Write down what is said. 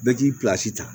Bɛɛ k'i ta